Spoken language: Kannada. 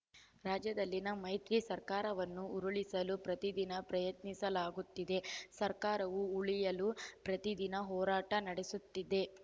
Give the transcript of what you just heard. ರಾಜ್ಯದಲ್ಲಿನ ಮೈತ್ರಿ ಸರ್ಕಾರವನ್ನು ಉರುಳಿಸಲು ಪ್ರತಿದಿನ ಪ್ರಯತ್ನಿಸಲಾಗುತ್ತಿದೆ ಸರ್ಕಾರವು ಉಳಿಯಲು ಪ್ರತಿದಿನ ಹೋರಾಟ ನಡೆಸುತ್ತಿದೆ